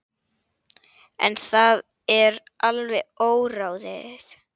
En það er alveg óráðið.